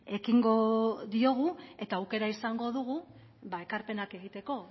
ekingo diogu eta aukera izango dugu ekarpenak egiteko